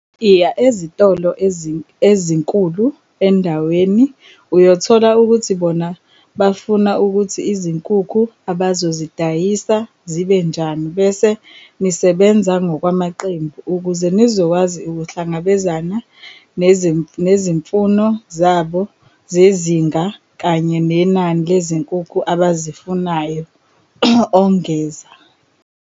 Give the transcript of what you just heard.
"Iya ezitolo ezinkulu endaweni uyothola ukuthi bona bafuna ukuthi izinkukhu abazozidayisa zibe njani bese nisebenza ngokwamaqembu ukuze nizokwazi ukuhlangabezana nezimfuno zabo zezinga kanye nenani lezinkukhu abazifunayo," ongeza.